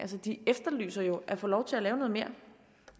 de efterlyser jo at få lov til at lave noget mere